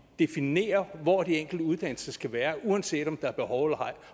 definerer hvor de enkelte uddannelser skal være uanset om der er behov eller ej